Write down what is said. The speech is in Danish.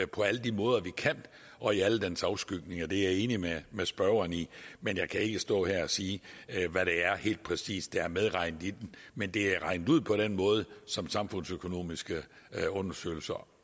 på alle de måder vi kan og i alle dens afskygninger det er jeg enig med med spørgeren i men jeg kan ikke stå her og sige hvad der helt præcis er medregnet men det er regnet ud på den måde som samfundsøkonomiske undersøgelser